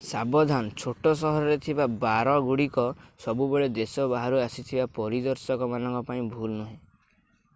ସାବଧାନ ଛୋଟ ସହରରେ ଥିବା ବାର ଗୁଡିକ ସବୁବେଳେ ଦେଶ ବାହାରୁ ଆସିଥିବା ପରିଦର୍ଶକ ମାନଙ୍କ ପାଇଁ ଭଲ ନୁହେଁ